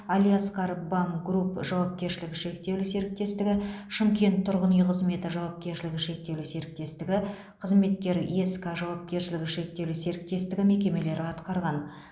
алиаскар бам групп жауапкершілігі шектеулі серіктестігі шымкент тұрғын үй қызметі жауапкершілігі шектеулі серіктестігі қызметкер еск жауапкершілігі шектеулі серіктестігі мекемелері атқарған